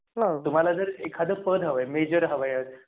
हां तुम्हाला जर एखादं पद हवे मेजर हवा आहे.